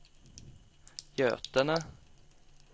Götene